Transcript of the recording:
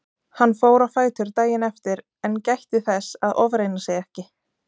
Hann fór á fætur daginn eftir en gætti þess að ofreyna sig ekki.